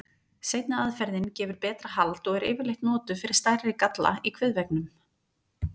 Seinni aðferðin gefur betra hald og er yfirleitt notuð fyrir stærri galla í kviðveggnum.